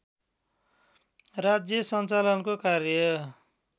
राज्य सञ्चालनको कार्य